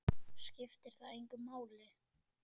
Skiptir það engu máli?